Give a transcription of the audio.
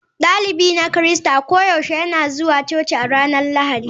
Dalibin na Kirista koyaushe yana zuwa coci a ranar Lahadi.